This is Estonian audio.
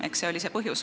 Eks see oli põhjus.